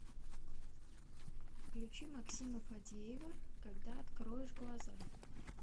включи максима фадеева когда откроешь глаза